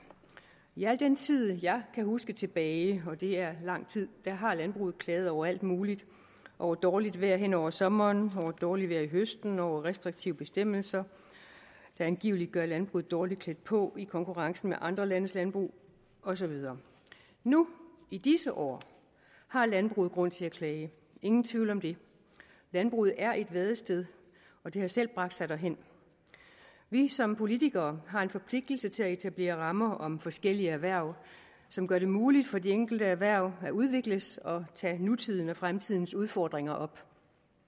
i al den tid jeg kan huske tilbage og det er lang tid har landbruget klaget over alt muligt over dårligt vejr hen over sommeren over dårligt vejr i høsten over restriktive bestemmelser der angiveligt gør landbruget dårligt klædt på i konkurrencen med andre landes landbrug og så videre nu i disse år har landbruget grund til at klage ingen tvivl om det landbruget er i et vadested og det har selv bragt sig derhen vi som politikere har en forpligtelse til at etablere rammer om forskellige erhverv som gør det muligt for de enkelte erhverv at udvikles og tage nutidens og fremtidens udfordringer op